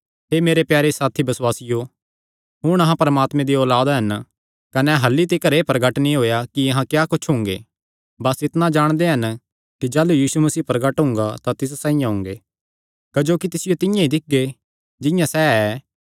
हे मेरे प्यारे साथी बसुआसियो हुण अहां परमात्मे दी औलाद हन कने अह्ल्ली तिकर एह़ प्रगट नीं होएया कि अहां क्या कुच्छ हुंगे बस इतणा जाणदे हन कि जाह़लू यीशु मसीह प्रगट हुंगा तां तिस साइआं हुंगे क्जोकि तिसियो तिंआं ई दिक्खगे जिंआं सैह़ ऐ